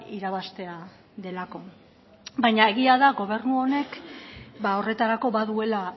irabaztea delako baina egia da gobernu honek horretarako baduela